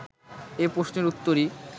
এ প্রশ্নের উত্তরই